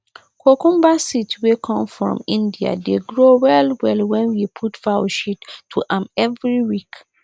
cucumber seed wey come from india dey grow well well when we put fowl sheat to am every week